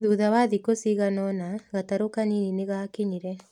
Thutha wa thikũ cigana ũna, gatarũ kanini nĩ gaakinyire.